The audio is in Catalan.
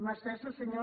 mà estesa senyor